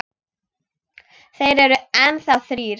Þeir eru enn þá þrír.